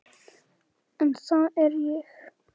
En það er ég.